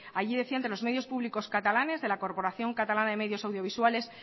allí decía entre los medios públicos catalanes de la corporación catalana de medios audiovisuales